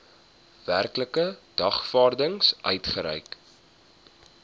werklike dagvaarding uitgereik